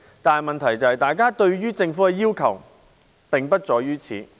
但是，問題是大家對於政府的要求並不止於此。